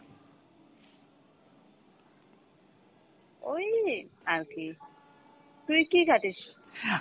ওই আরকী, তুই কি ঘাটিস